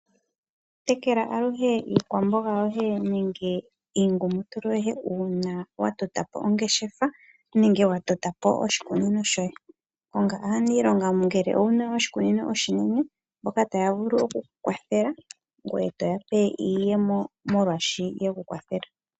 Tekele aluhe iikwamboga yoye nenge iingutulu yoye uuna wa tota po ongeshefa nengw uuna wa tota po oshikunino shoye konga aaniilonga ngele owuna oshikunino oshinene mboka taya vulu okukukwathela ngoye toya pe iiyemo molwash uekwathelela.